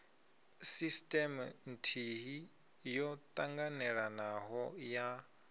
sisteme nthihi yo ṱanganelanaho ya